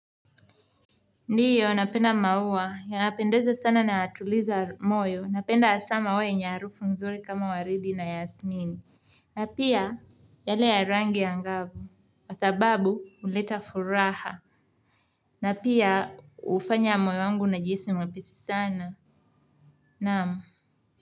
Ndiyo, napenda maua. Yanapendeza sana na yatuliza moyo. Napenda hasa maua yenye harufu nzuri kama waridi na yasmini. Na pia yale ya rangi angavu kwa sababu, huleta furaha. Na pia, hufanya moyo wangu unajihisi mwepesi sana. Naam.